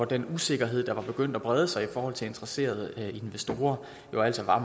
den usikkerhed der var begyndt at brede sig hos interesserede investorer jo altså